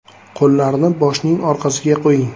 Qo‘llarni boshning orqasiga qo‘ying.